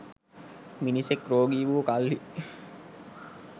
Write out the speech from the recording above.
මිනිසෙක් රෝගී වූ කල්හි